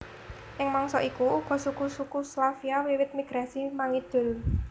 Ing mangsa iku uga suku suku Slavia wiwit migrasi mangidul